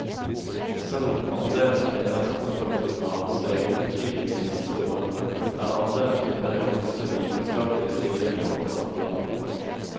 Selv om andelen kvinner som tar doktorgrad har steget betydelig de siste årene, er andelen kvinner i faste vitenskapelige stillinger fortsatt lav.